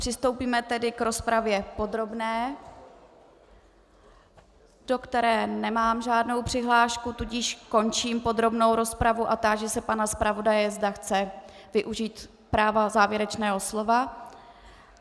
Přistoupíme tedy k rozpravě podrobné, do které nemám žádnou přihlášku, tudíž končím podrobnou rozpravu a táži se pana zpravodaje, zda chce využít práva závěrečného slova.